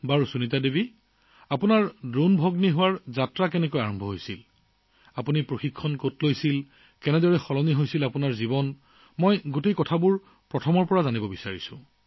বাৰু সুনীতা জী ড্ৰোন দিদি হোৱাৰ যাত্ৰা কেনেকৈ আৰম্ভ হল আপুনি আপোনাৰ প্ৰশিক্ষণ কৰ পৰা পালে কথাবোৰ কেনেকৈ সলনি হল আৰম্ভণিৰে পৰা কওকচোন